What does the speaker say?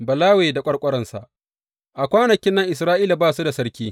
Balawe da ƙwarƙwararsa A kwanakin nan Isra’ila ba su da sarki.